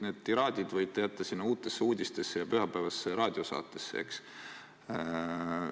Need tiraadid võite jätta sinna Uutesse Uudistesse ja pühapäevastesse raadiosaadetesse.